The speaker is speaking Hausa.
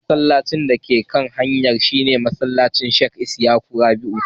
Masallacin dake kan waccan hanyar shi ne masallacin Sheikh Isyaka Rabi'u.